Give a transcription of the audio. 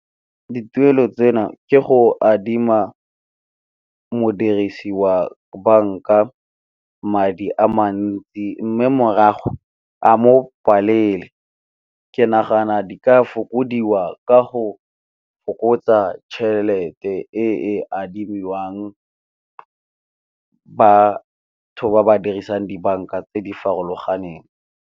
Dituelo ke go adima modirisi wa banka madi a mantsi, mme morago a mo palele. Ke nagana di ka fokodiwa ka go fokotsa tšhelete e e adimiwang batho ba ba dirisang dibanka tse di farologaneng.